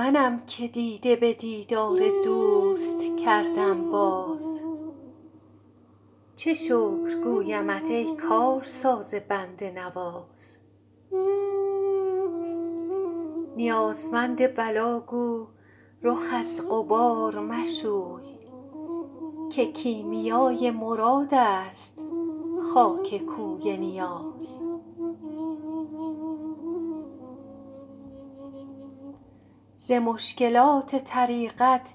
منم که دیده به دیدار دوست کردم باز چه شکر گویمت ای کارساز بنده نواز نیازمند بلا گو رخ از غبار مشوی که کیمیای مراد است خاک کوی نیاز ز مشکلات طریقت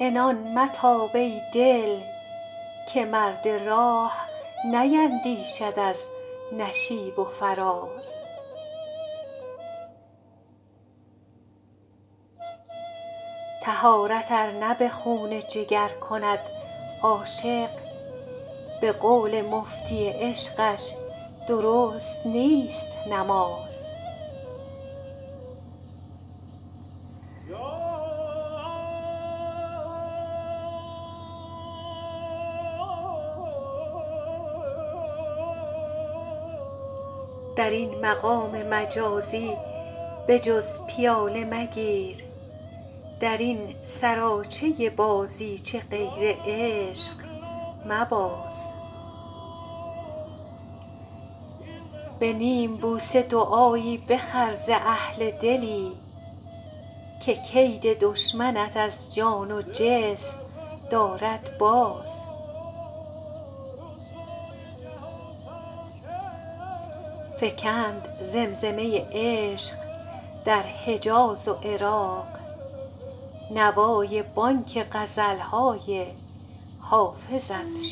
عنان متاب ای دل که مرد راه نیندیشد از نشیب و فراز طهارت ار نه به خون جگر کند عاشق به قول مفتی عشقش درست نیست نماز در این مقام مجازی به جز پیاله مگیر در این سراچه بازیچه غیر عشق مباز به نیم بوسه دعایی بخر ز اهل دلی که کید دشمنت از جان و جسم دارد باز فکند زمزمه عشق در حجاز و عراق نوای بانگ غزل های حافظ از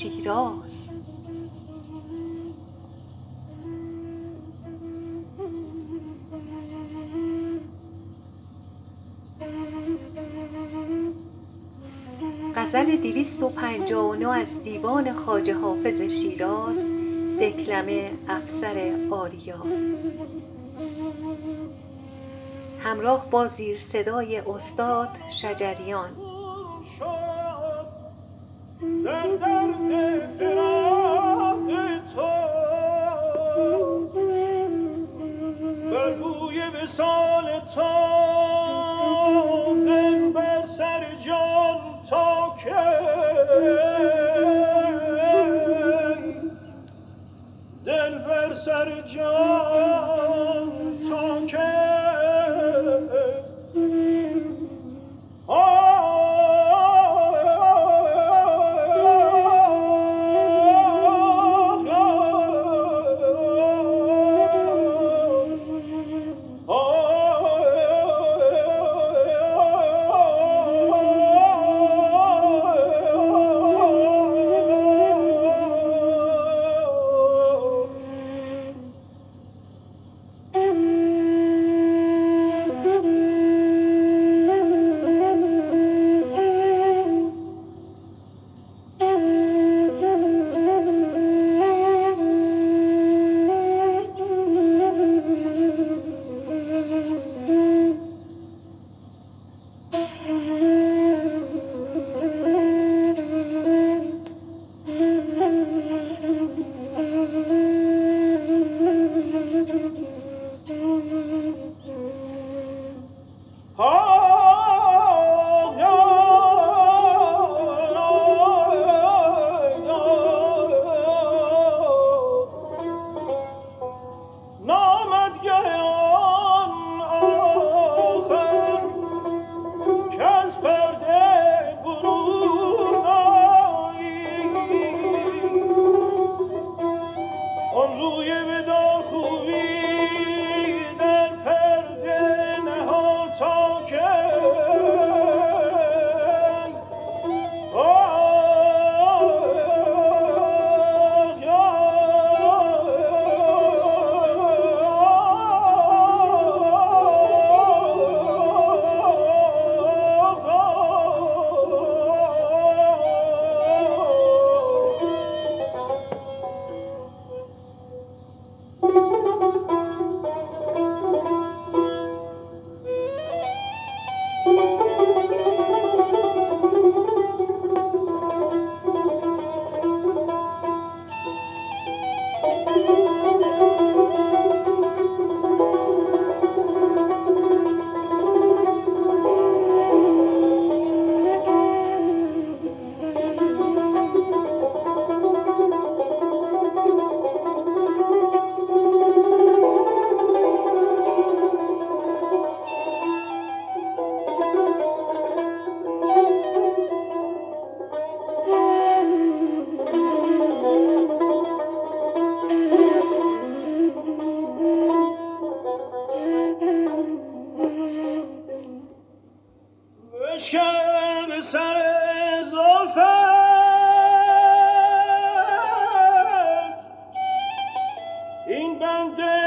شیراز